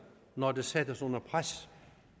når det sættes under pres